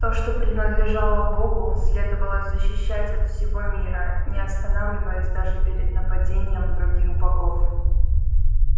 то что принадлежало богу следовало защищать от всего мира не останавливаясь даже перед нападением на других богов